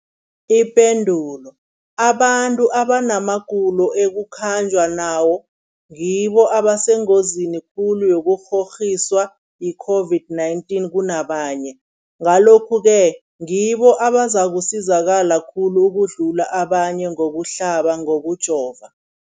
Ipendulo, abantu abanamagulo ekukhanjwa nawo ngibo abasengozini khulu yokukghokghiswa yi-COVID-19 kunabanye, Ngalokhu-ke ngibo abazakusizakala khulu ukudlula abanye ngokuhlaba, ngokujova.